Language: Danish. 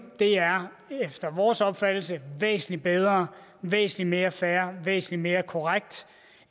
er efter vores opfattelse væsentlig bedre væsentlig mere fair væsentlig mere korrekt